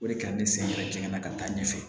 O de ka ne sen ka jɛngɛnna ka taa ɲɛfɛ